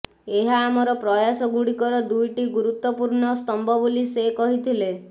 ଏହା ଆମର ଜାତୀୟ ପ୍ରୟାସଗୁଡ଼ିକର ଦୁଇଟି ଗୁରୁତ୍ୱପୂର୍ଣ୍ଣସ୍ତମ୍ଭ ବୋଲି ସେ କହିଥିଲେ